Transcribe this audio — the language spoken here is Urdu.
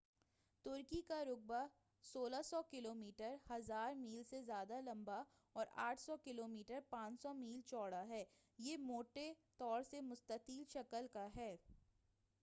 ترکی کا رقبہ 1600 کلومیٹر 1,000 میل سے زیادہ لمبا اور 800 کلو میٹر 500 میل چوڑا ہے۔ یہ موٹے طور سے مستطیل شکل کا ہے۔